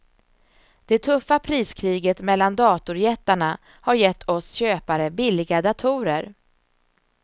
Det tuffa priskriget mellan datorjättarna har gett oss köpare billiga datorer.